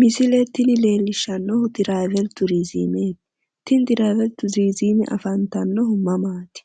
Misile tini leellishshannohu traavel turiizimete, tini tiraavel turiizime afantannohu mamaati?